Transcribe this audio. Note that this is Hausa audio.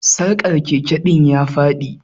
Sarkar Keke din ya Fadi.